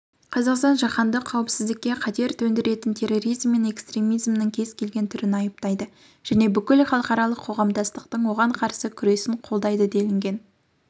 қазақстан жаһандық қауіпсіздікке қатер төндіретін терроризм мен экстремизмнің кез келген түрін айыптайды және бүкіл халықаралық қоғамдастықтың оған қарсы күресін қолдайды делінген